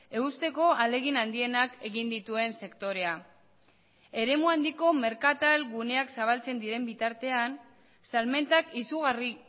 eusteko ahalegin handienak egin dituen sektorea eremu handiko merkatal guneak zabaltzen diren bitartean salmentak izugarri